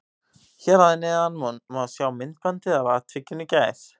Hér að neðan má sjá myndbandið af atvikinu í gær.